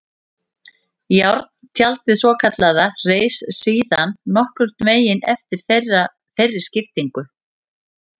Járntjaldið svokallaða reis síðan nokkurn veginn eftir þeirri skiptingu.